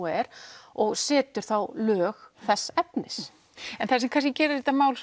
er og setur þá lög þess efnis en það sem gerir þetta mál